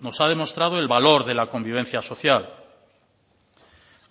nos ha demostrado el valor de la convivencia social